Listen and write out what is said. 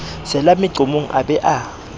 sela meqomong a be a